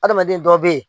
Adamaden dɔw bɛ ye